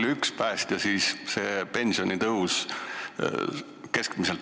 Kui suur keskmiselt on ühe päästja pensioni tõus?